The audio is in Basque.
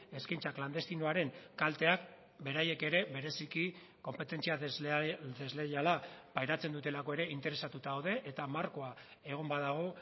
eskaintza klandestinoaren kalteak beraiek ere bereziki konpetentzia desleiala pairatzen dutelako ere interesatuta daude eta markoa egon badago